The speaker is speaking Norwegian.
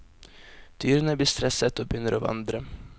Dyrene blir stresset og begynner å vandre.